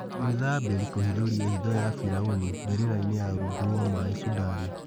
Mwithabĩ ri kũhithũria hitho ya biraũni mbĩ rĩ rainĩ ya rũngu rwa maĩ Sudani